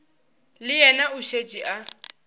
le yena o šetše a